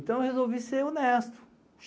Então, eu resolvi ser honesto.